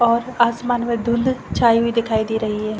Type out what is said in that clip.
बहोत आसमान में ढूंध छाई हुई दिखाई दे रही है।